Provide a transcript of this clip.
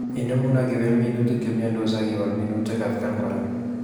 Inemu akibel minutik che imyendos akiwal minutik atkan kora